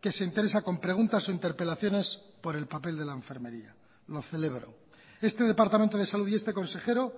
que se interesa con preguntas o interpelaciones por el papel de la enfermería lo celebro este departamento de salud y este consejero